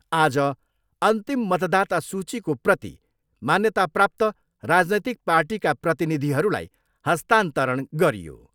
आज अन्तिम मतदाता सूचीको प्रति मान्यताप्राप्त राजनैतिक पार्टीका प्रतिनिधिहरूलाई हस्तान्तरण गरियो।